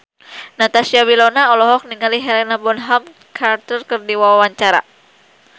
Natasha Wilona olohok ningali Helena Bonham Carter keur diwawancara